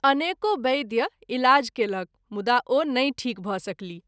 अनेको वैद्य इलाज कएलक मुदा ओ नहिं ठीक भ’ सकलीह।